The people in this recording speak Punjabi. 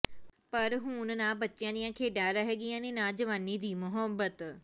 ਪਰ ਹੁਣ ਨਾ ਬੱਚਿਆਂ ਦੀਆਂ ਖੇਡਾਂ ਰਹਿ ਗਈਆਂ ਨੇ ਨਾ ਜਵਾਨੀ ਦੀ ਮੁਹੱਬਤ